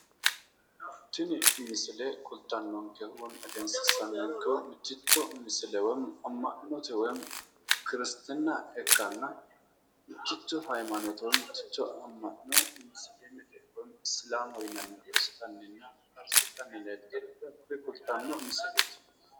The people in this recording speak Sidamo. Tini misile Egensiisanonkehu ama'note giddo musilimete( Isliminu ) amanano gamba yte mittimmateni guwisidhanni noottati kaliiqansa